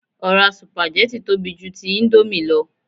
Ọ̀rá sùpàgẹ́tì tóbi ju ti íńdómì lọ